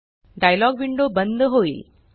dialogue window बंद होईल